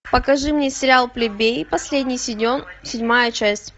покажи мне сериал плебеи последний сезон седьмая часть